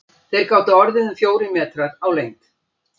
Þeir gátu orðið um fjórir metrar á lengd.